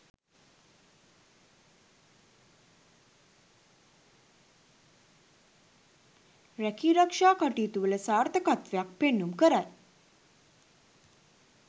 රැකීරක්ෂා කටයුතුවල සාර්ථකත්වයක් පෙන්නුම් කරයි.